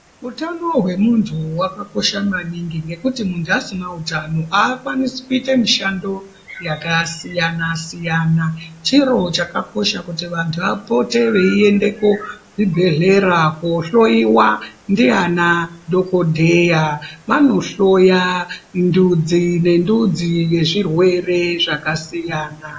Utano hwemuntu hwakakosha maningi ngekuti muntu asina utano akwanisi kuita mishando yakasiyana siyana. Chiro chakanaka kuti vantu vapote veiyenda kuzvibhehlera kohloyiwa ndiana dhokodheya. Vanohloya ndudzi nendudzi yezvirwere zvakasiyana.